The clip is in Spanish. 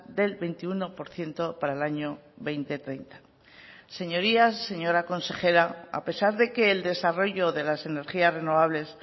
del veintiuno por ciento para el año dos mil treinta señorías señora consejera a pesar de que el desarrollo de las energías renovables